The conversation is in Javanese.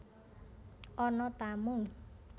Ana tamu